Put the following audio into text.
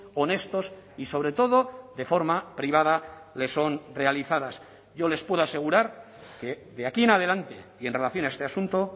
honestos y sobre todo de forma privada le son realizadas yo les puedo asegurar que de aquí en adelante y en relación a este asunto